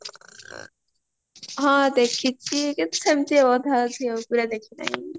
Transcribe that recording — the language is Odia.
ହଁ ଦେଖିଚି କିନ୍ତୁ ସେମଟି ଆଉ ଅଧା ଅଧି ପୁରା ଦେଖି ନାହିଁ